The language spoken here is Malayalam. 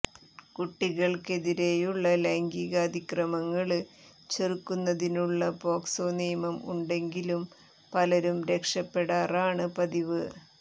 കുട്ടികള്ക്കെതിരെയുള്ള ലൈംഗികാതിക്രമങ്ങള് ചെറുക്കുന്നതിനുള്ള പോക്സോ നിയമം ഉണ്ടെങ്കിലും പലരും രക്ഷപ്പെടാറാണ് പതിവ്